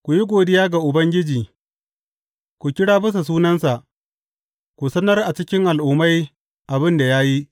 Ku yi godiya ga Ubangiji, ku kira bisa sunansa; ku sanar a cikin al’ummai abin da ya yi.